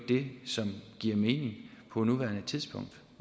det som giver mening på nuværende tidspunkt